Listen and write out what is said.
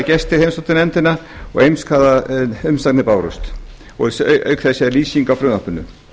gestir heimsóttu nefndina og eins hvaða umsagnir bárust og auk þess er lýsing á frumvarpinu